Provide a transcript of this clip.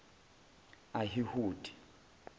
ahihudi